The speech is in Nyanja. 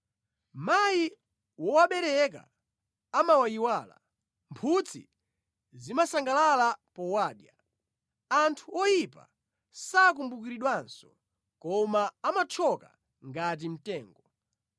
Mayi wowabereka amawayiwala, mphutsi zimasangalala powadya; anthu oyipa sakumbukiridwanso koma amathyoka ngati mtengo.